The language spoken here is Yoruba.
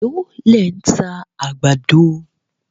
Èló lẹ̀ ń ta àgbàdo